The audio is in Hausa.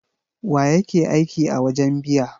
Wa yake aiki a wajen biya?